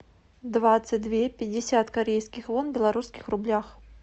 двадцать две пятьдесят корейских вон в белорусских рублях